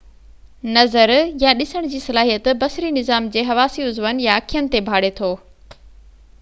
نظر يا ڏسڻ جي صلاحيت بصري نظام جي حواسي عضون يا اکين تي ڀاڙي ٿو